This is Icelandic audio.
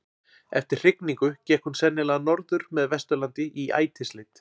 eftir hrygningu gekk hún sennilega norður með vesturlandi í ætisleit